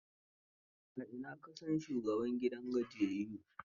A ina ka san shugaban gidan gajiyayyun?